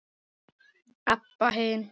Abba hin.